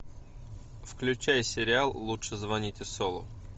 включай сериал лучше звоните солу